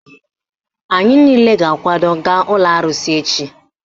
Anyị niile ga-akwado gaa ụlọ arụsị echi